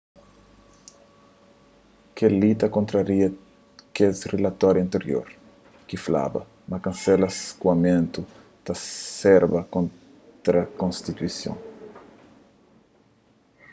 kel-li ta kontraria kes rilatoriu antirior ki flaba ma kansela skoamentu ta serba kontra konstituison